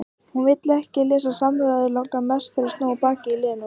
Hún vill ekki þessar samræður, langar mest til að snúa baki í Lenu, fara.